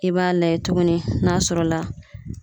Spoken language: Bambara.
I b'a layɛ tuguni n'a sɔrɔ la